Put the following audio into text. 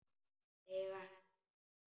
Eiga hest.